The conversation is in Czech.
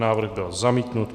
Návrh byl zamítnut.